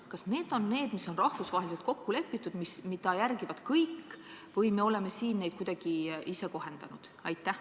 Kas need on rahvusvaheliselt kokku lepitud ja neid järgivad kõik või oleme neid siin kuidagi ise kohendanud?